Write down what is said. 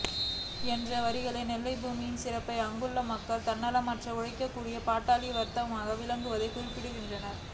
என்ற வரிகளில் நெல்லை பூமியின் சிறப்பையும் அங்குள்ள மக்கள் தன்னலமற்று உழைக்கக்கூடிய பாட்டாளி வர்க்கமாக விளங்குவதையும் குறிப்பிடுகிறார்